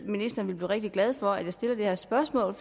ministeren vil blive rigtig glad for at jeg stiller det her spørgsmål